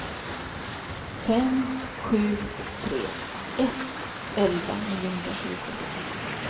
fem sju tre ett elva niohundratjugo